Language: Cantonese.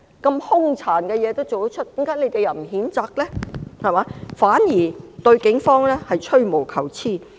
這麼兇殘的事情，為甚麼反對派不譴責呢？反而對警方吹毛求疵。